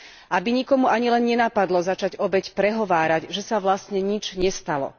Aby nikomu ani len nenapadlo začať obeť prehovárať, že sa vlastne nič nestalo.